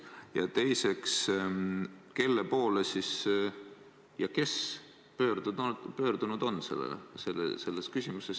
Ja teiseks, kelle poole ja kes siis pöördunud on selles küsimuses?